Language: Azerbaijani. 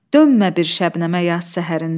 Dönmə bir şəbnəmə yaz səhərində.